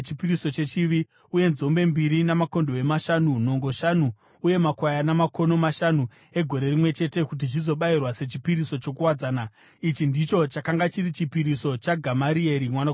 uye nzombe mbiri, makondobwe mashanu, nhongo shanu uye makwayana makono mashanu egore rimwe chete, kuti zvizobayirwa sechipiriso chokuwadzana. Ichi ndicho chakanga chiri chipiriso chaGamarieri mwanakomana waPedhazuri.